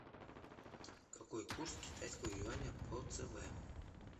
какой курс китайского юаня по цб